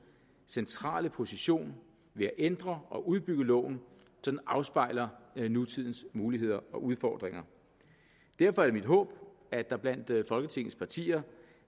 centrale position ved at ændre og udbygge loven så den afspejler nutidens muligheder og udfordringer derfor er det mit håb at der blandt folketingets partier